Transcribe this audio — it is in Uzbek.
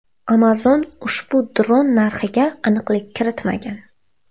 Amazon ushbu dron narxiga aniqlik kiritmagan.